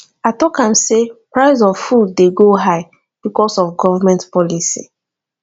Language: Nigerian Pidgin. i talk am sey price of food dey go high because of government policy